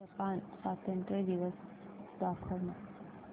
Japan स्वातंत्र्य दिवस दाखव ना